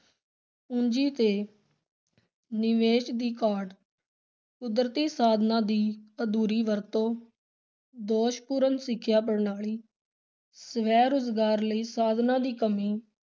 ਪੂੰਜੀ ਤੇ ਨਿਵੇਸ਼ ਦੀ ਘਾਟ, ਕੁਦਰਤੀ ਸਾਧਨਾਂ ਦੀ ਅਧੂਰੀ ਵਰਤੋਂ, ਦੋਸ਼ਪੂਰਨ ਸਿੱਖਿਆ ਪ੍ਰਣਾਲੀ ਸੈ-ਰੁਜ਼ਗਾਰ ਲਈ ਸਾਧਨਾਂ ਦੀ ਕਮੀ,